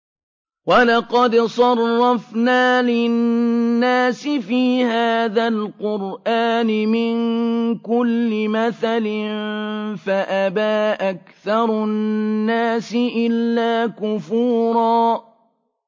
وَلَقَدْ صَرَّفْنَا لِلنَّاسِ فِي هَٰذَا الْقُرْآنِ مِن كُلِّ مَثَلٍ فَأَبَىٰ أَكْثَرُ النَّاسِ إِلَّا كُفُورًا